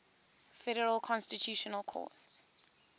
federal constitutional court